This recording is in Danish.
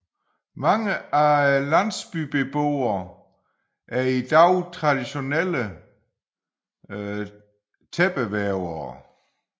Mange af landsbybeboerne er i dag traditionelle tæppevævere